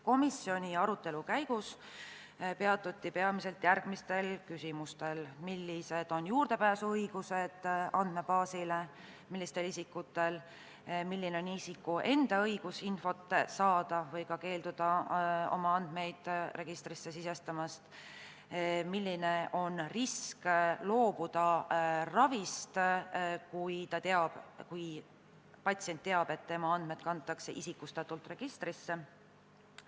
Komisjoni arutelu käigus peatuti peamiselt järgmistel küsimustel: millised on andmebaasile juurdepääsu õigused, millistel isikutel see õigus on; milline on isiku enda õigus infot saada või ka keelduda sellest, et tema andmeid registrisse sisestatakse; milline on risk, et loobutakse ravist, kui patsient teab, et tema andmed kantakse registrisse isikustatult.